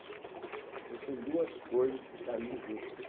Então são duas coisas que caminham juntas.